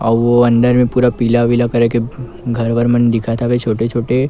अउ ओ अंदर में पूरा पीला विला करे के घर वर मन दिखत हवे छोटे-छोटे--